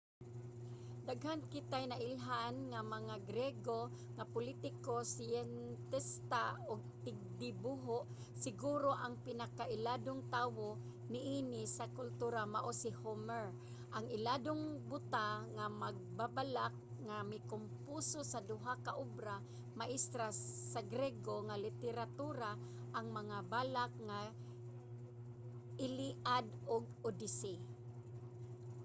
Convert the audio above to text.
daghan kitay nailhan nga mga griego nga politiko siyentista ug tigdibuho. siguro ang pinakailadong tawo niini nga kultura mao si homer ang iladong buta nga magbabalak nga mikomposo sa duha ka obra maestra sa griego nga literatura: ang mga balak nga iliad ug odyssey